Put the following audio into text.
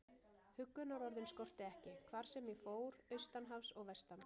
Huggunarorðin skorti ekki, hvar sem ég fór, austan hafs og vestan.